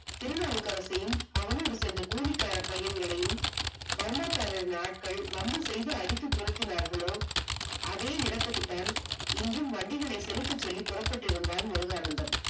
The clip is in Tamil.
திருநாவுக்கரசரையும் அவனோடு சென்ற கூலிக்கார பயன்களையும் பர்மா கார ஆட்கள் வம்பு செய்து அடித்து துரத்தினார்களோ அதே இடத்துக்கு தான் இன்றும் வண்டிகளை சிரித்து சொல்லி புறப்பட்டிருந்தால் முருகானந்தம்